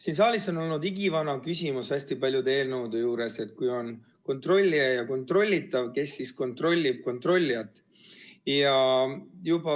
Siin saalis on olnud igivana küsimus hästi paljude eelnõude puhul see, et on kontrollija ja on kontrollitav, kes kontrollib kontrollijat.